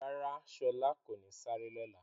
Rárá, Shọla kò ní sárẹ̀ lọ́lá.